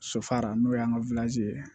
Sofara n'o y'an ka ye